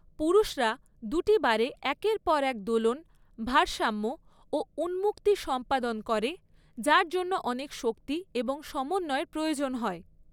পুরুষরা দুটি বারে একের পর এক দোলন, ভারসাম্য, ও উন্মুক্তি সম্পাদন করে যার জন্য অনেক শক্তি এবং সমন্বয়ের প্রয়োজন হয়।